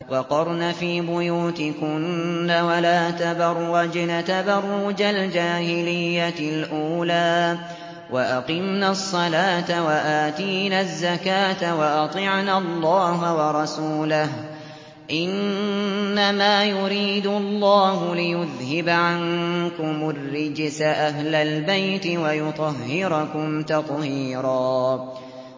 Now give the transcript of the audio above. وَقَرْنَ فِي بُيُوتِكُنَّ وَلَا تَبَرَّجْنَ تَبَرُّجَ الْجَاهِلِيَّةِ الْأُولَىٰ ۖ وَأَقِمْنَ الصَّلَاةَ وَآتِينَ الزَّكَاةَ وَأَطِعْنَ اللَّهَ وَرَسُولَهُ ۚ إِنَّمَا يُرِيدُ اللَّهُ لِيُذْهِبَ عَنكُمُ الرِّجْسَ أَهْلَ الْبَيْتِ وَيُطَهِّرَكُمْ تَطْهِيرًا